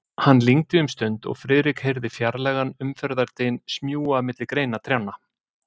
Hann lygndi um stund, og Friðrik heyrði fjarlægan umferðardyn smjúga milli greina trjánna.